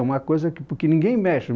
É uma coisa que... porque ninguém mexe.